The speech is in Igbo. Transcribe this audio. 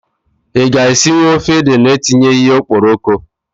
I ga-esinwu ofe ede na etinyeghi ya okporoko?